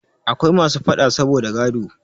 Akwai masu faɗa saboda gado.